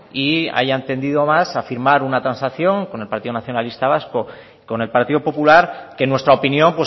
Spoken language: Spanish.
y hayan tendido más a firma una transacción con el partido nacionalista vasco y con el partido popular que en nuestra opinión